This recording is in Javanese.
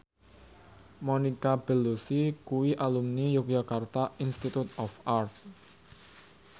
Monica Belluci kuwi alumni Yogyakarta Institute of Art